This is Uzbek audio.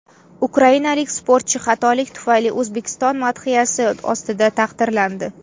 Ukrainalik sportchi xatolik tufayli O‘zbekiston madhiyasi ostida taqdirlandi .